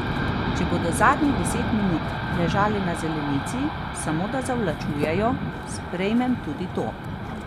Če bodo zadnjih deset minut ležali na zelenici, samo da zavlačujejo, sprejmem tudi to.